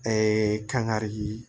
kangari ye